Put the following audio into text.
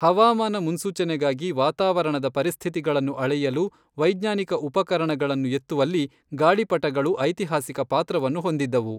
ಹವಾಮಾನ ಮುನ್ಸೂಚನೆಗಾಗಿ ವಾತಾವರಣದ ಪರಿಸ್ಥಿತಿಗಳನ್ನು ಅಳೆಯಲು ವೈಜ್ಞಾನಿಕ ಉಪಕರಣಗಳನ್ನು ಎತ್ತುವಲ್ಲಿ ಗಾಳಿಪಟಗಳು ಐತಿಹಾಸಿಕ ಪಾತ್ರವನ್ನು ಹೊಂದಿದ್ದವು.